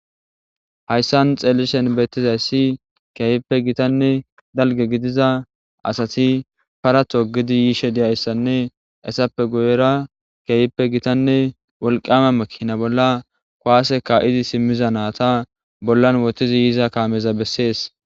Haysan xelishin betizays kehippei gitanne dalga gidiza asati para togidi yizaysane izappe guyera kehippe gitanne wolqama makina bolla kuwasse ka'idi simiza nayta bollan wothidi yiza nayta besses.